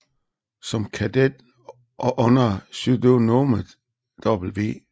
Som kadet og under pseudonymet W